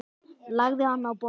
Lagði hann á borð.